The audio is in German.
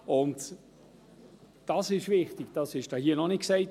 Wichtig ist, und das wurde hier noch nicht gesagt: